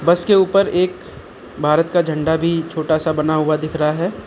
उसके ऊपर एक भारत का झंडा भी छोटा सा बना हुआ दिख रहा है।